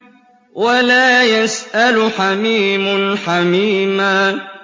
وَلَا يَسْأَلُ حَمِيمٌ حَمِيمًا